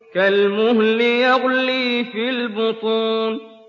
كَالْمُهْلِ يَغْلِي فِي الْبُطُونِ